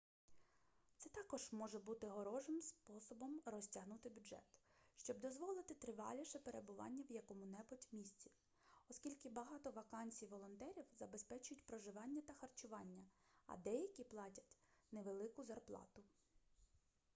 це також може бути хорошим способом розтягнути бюджет щоб дозволити триваліше перебування в якому-небудь місці оскільки багато вакансій волонтерів забезпечують проживання та харчування а деякі платять невелику зарплату